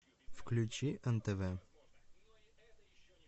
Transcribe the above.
включи нтв